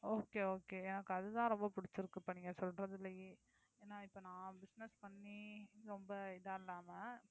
okay okay எனக்கு அதுதான் ரொம்ப பிடிச்சிருக்குப்பா நீங்க சொல்றதுலயே ஏன்னா நா இப்ப business பண்ணி ரொம்ப இதா இல்லாம